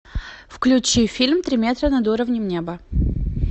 включи фильм три метра над уровнем неба